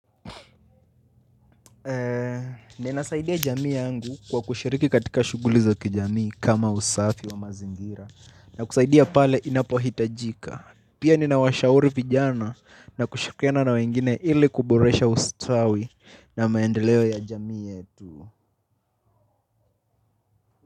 Ninasaidia jamii yangu kwa kushiriki katika shughuli za kijamii kama usafi wa mazingira na kusaidia pale inapohitajika. Pia ninawashauri vijana na kushirikiana na wengine ili kuboresha ustawi na maendeleo ya jamii yetu.